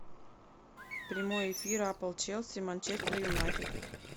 прямой эфир апл челси манчестер юнайтед